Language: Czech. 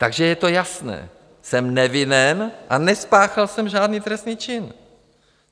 Takže je to jasné, jsem nevinen a nespáchal jsem žádný trestný čin.